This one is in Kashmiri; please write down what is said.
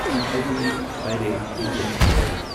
E I D Parry India limited